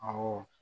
Awɔ